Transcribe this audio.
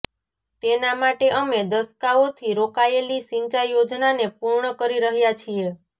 તેના માટે અમે દશકાઓથી રોકાયેલી સિંચાઈ યોજનાને પૂર્ણ કરી રહ્યા છીએ